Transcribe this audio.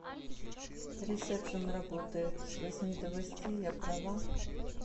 ресепшен работает с восьми до восьми я права